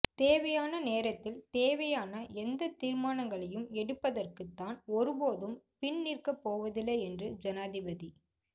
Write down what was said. தேவையான நேரத்தில் தேவையான எந்த தீர்மானங்களையும் எடுப்பதற்கு தான் ஒருபோதும் பின் நிற்கப் போவதில்லை என்று ஜனாதிபதி